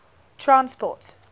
transport